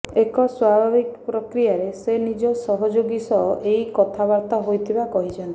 ଏକ ସ୍ୱାଭାବିକ ପ୍ରକ୍ରିୟାରେ ସେ ନିଜ ସହଯୋଗୀ ସହ ଏହି କଥାବାର୍ତ୍ତା ହୋଇଥିବା କହିଛନ୍ତି